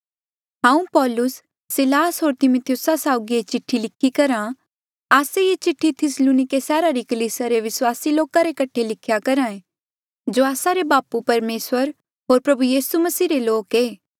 हांऊँ पौलुस सिलास होर तिमिथियुस साउगी ये चिठ्ठी लिखी करहा आस्से ये चिठ्ठी थिस्सलुनिके सैहरा री कलीसिया रे विस्वासी लोका रे कठे लिख्या करहा ऐें जो आस्सा रे बापू परमेसर होर प्रभु यीसू मसीह रे लोक ऐें